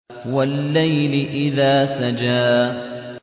وَاللَّيْلِ إِذَا سَجَىٰ